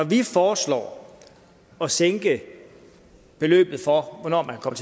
vi foreslår at sænke beløbet for hvornår man kan